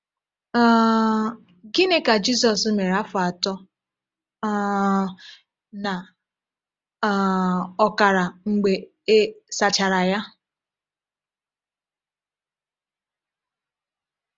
um Gịnị ka Jizọs mere afọ atọ um na um ọkara mgbe e sachara ya?